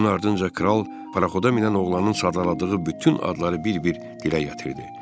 Bunun ardınca kral paroxoda minən oğlanın sadaladığı bütün adları bir-bir dilə gətirdi.